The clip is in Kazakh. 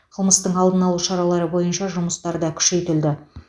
қылмыстың алдын алу шаралары бойынша жұмыстар да күшейтілді